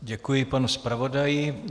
Děkuji panu zpravodaji.